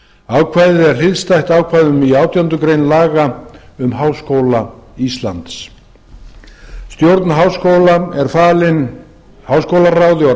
ákvæðið er skylt ákvæðum í átjándu grein laga um háskóla íslands stjórn háskólans er falin háskólaráði og